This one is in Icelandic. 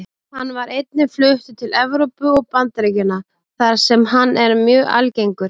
Hann var einnig fluttur til Evrópu og Bandaríkjanna þar sem hann er mjög algengur.